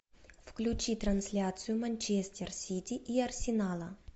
включи трансляцию манчестер сити и арсенала